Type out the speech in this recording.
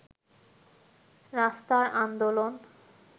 রাস্তার আন্দোলন